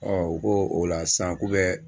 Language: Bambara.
u ko o la sisan k'u bɛ